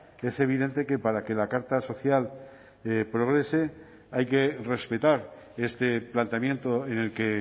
que es evidente que para que la carta social progrese hay que respetar este planteamiento en el que